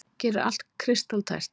Gerir allt kristaltært.